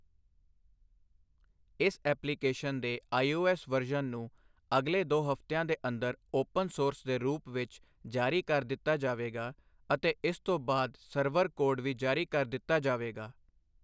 ਇਸ ਐਪਲੀਕੇਸ਼ਨ ਦੇ iOS version ਨੂੰ ਅਗਲੇ ਦੋ ਹਫਤਿਆਂ ਦੇ ਅੰਦਰ ਓਪਨ ਸੋਰਸ ਦੇ ਰੂਪ ਵਿੱਚ ਜਾਰੀ ਕਰ ਦਿੱਤਾ ਜਾਵੇਗਾ ਅਤੇ ਇਸ ਤੋਂ ਬਾਅਦ ਸਰਵਰ ਕੋਡ ਵੀ ਜਾਰੀ ਕਰ ਦਿੱਤਾ ਜਾਵੇਗਾ।